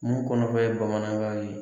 Mun kɔnɔ fɛn ye bamanankan ye.